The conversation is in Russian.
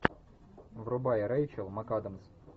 врубай рэйчел макадамс